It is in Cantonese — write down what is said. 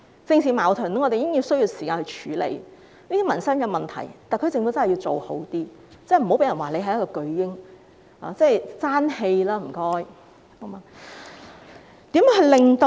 我們已經需要時間處理政治矛盾，對於民生問題，特區政府一定要做得好一點，不要被人說是"巨嬰"，請政府爭氣吧！